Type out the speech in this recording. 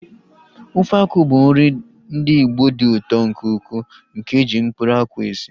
Ofe akwụ bụ nri ndị Igbo dị ụtọ nke ukwuu nke eji mkpụrụ akwụ esi